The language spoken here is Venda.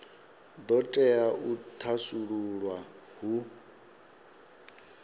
do tea u thasululwa hu